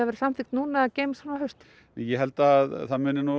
verði samþykkt núna eða geymist fram á haustið ég held að það muni